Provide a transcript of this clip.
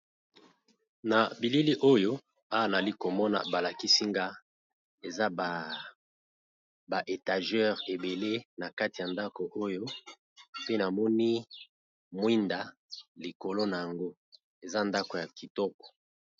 Na bilili oyo aanali komona balakisinga eza baetageur ebele na kati ya ndako oyo pe namoni mwinda likolo na yango eza ndako ya kitoko.